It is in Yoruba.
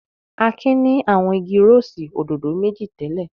Akin ni àwọn igi rósì òdòdó méjì tẹ́lẹ̀.